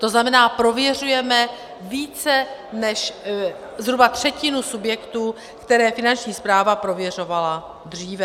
To znamená, prověřujeme více než zhruba třetinu subjektů, které Finanční správa prověřovala dříve.